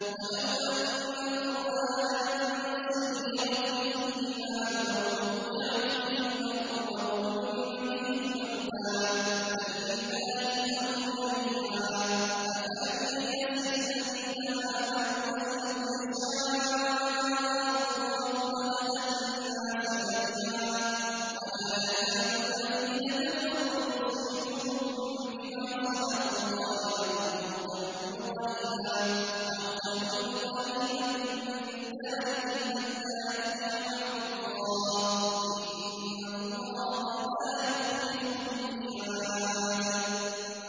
وَلَوْ أَنَّ قُرْآنًا سُيِّرَتْ بِهِ الْجِبَالُ أَوْ قُطِّعَتْ بِهِ الْأَرْضُ أَوْ كُلِّمَ بِهِ الْمَوْتَىٰ ۗ بَل لِّلَّهِ الْأَمْرُ جَمِيعًا ۗ أَفَلَمْ يَيْأَسِ الَّذِينَ آمَنُوا أَن لَّوْ يَشَاءُ اللَّهُ لَهَدَى النَّاسَ جَمِيعًا ۗ وَلَا يَزَالُ الَّذِينَ كَفَرُوا تُصِيبُهُم بِمَا صَنَعُوا قَارِعَةٌ أَوْ تَحُلُّ قَرِيبًا مِّن دَارِهِمْ حَتَّىٰ يَأْتِيَ وَعْدُ اللَّهِ ۚ إِنَّ اللَّهَ لَا يُخْلِفُ الْمِيعَادَ